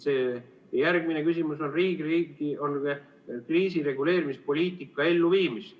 Järgmine küsimus puudutab riigi kriisireguleerimispoliitika elluviimist.